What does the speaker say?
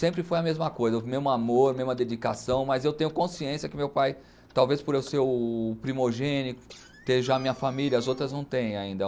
Sempre foi a mesma coisa, o mesmo amor, mesma dedicação, mas eu tenho consciência que meu pai, talvez por eu ser o primogênito, ter já a minha família, as outras não tem ainda.